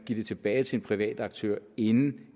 give det tilbage til en privat aktør inden